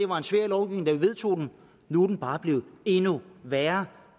var en svær lovgivning da vi vedtog den nu er den bare blevet endnu værre